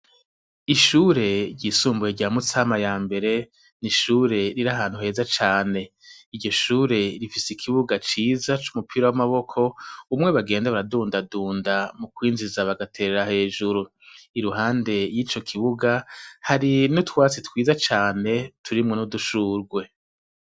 Ishure ryisumbuye rya Mutsama ya mbere, ni ishure riri ahantu heza cane. Iryo shure rifise ikibuga ciza c'umupira w'amaboko, umwe bagenda baradundadunda mukwinjiza bagaterera hejuru. Iruhande y'ico kibuga, hari n'utwatsi twiza cane, turimwo d'udushurwe.